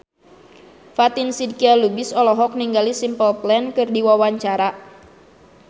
Fatin Shidqia Lubis olohok ningali Simple Plan keur diwawancara